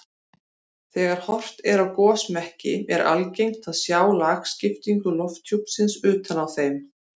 Þegar horft er á gosmekki er algengt að sjá lagskiptingu lofthjúpsins utan á þeim.